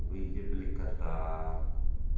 выебли кота